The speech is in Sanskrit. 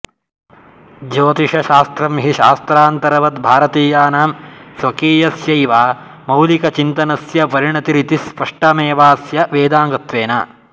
ज्योतिषशास्त्रं हि शास्त्रान्तरवद्भारतीयानां स्वकीयस्यैव मौलिकचिन्तनस्य परिणतिरिति स्पष्टमेवास्य वेदाङ्गत्वेन